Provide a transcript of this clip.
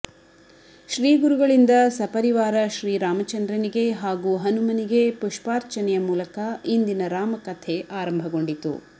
ಶ್ರೀಗುರುಗಳಿಂದ ಸಪರಿವಾರ ಶ್ರೀರಾಮಚಂದ್ರನಿಗೆ ಹಾಗೂ ಹನುಮನಿಗೆ ಪುಷ್ಪಾರ್ಚನೆಯ ಮೂಲಕ ಇಂದಿನ ರಾಮಕಥೆ ಆರಂಭಗೊಂಡಿತು